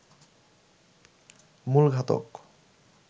মূল ঘাতক